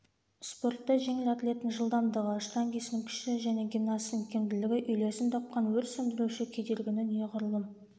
спортта жеңіл атлеттің жылдамдығы штангисттың күші және гимнасттың икемділігі үйлесім тапқан өрт сөндіруші кедергіні неғұрлым